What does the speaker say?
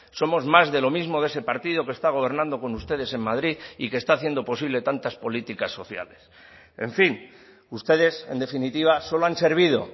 somos más de lo mismo de ese partido que está gobernando con ustedes en madrid y que está haciendo posible tantas políticas sociales en fin ustedes en definitiva solo han servido